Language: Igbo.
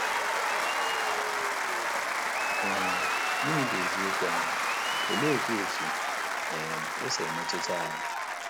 um Gịnị bụ eziokwu ahụ, oleekwa otú um o si emetụta anyị?